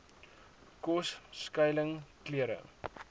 kos skuiling klere